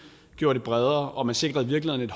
gjorde det bredere og man sikrede i virkeligheden